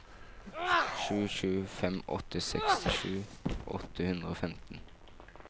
sju sju fem åtte sekstisju åtte hundre og femten